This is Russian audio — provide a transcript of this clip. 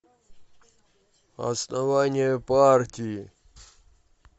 основание партии